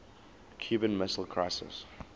cuban missile crisis